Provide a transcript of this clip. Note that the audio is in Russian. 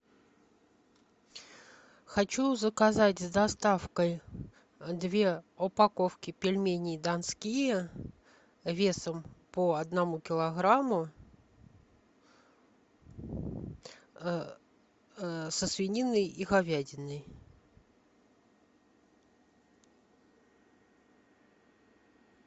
хочу заказать с доставкой две упаковки пельменей донские весом по одному килограмму со свининой и говядиной